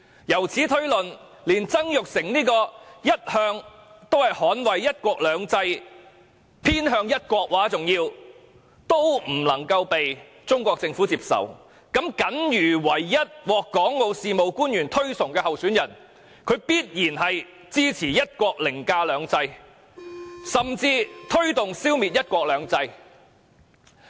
由此推論，連一向捍衞"一國兩制"甚至偏向一國的曾鈺成都不為中國政府所接納，那麼僅餘唯一獲港澳事務官員推崇的候選人，必然是支持"一國"凌駕"兩制"，甚或推動消滅"一國兩制"。